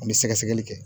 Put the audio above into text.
An bɛ sɛgɛsɛgɛli kɛ